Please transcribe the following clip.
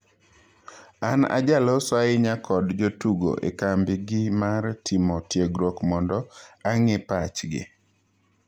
An ajaloso ahinya kod jotugo ekambi gi mar timo tiegruok mondo ang'ee pachgi.